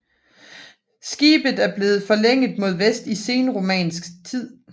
Skibet er blevet forlænget mod vest i senromansk tid